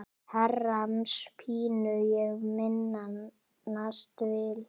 Herrans pínu ég minnast vil.